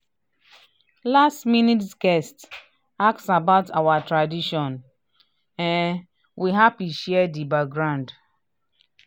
last minute guest ask about our tradition um we happy share di background.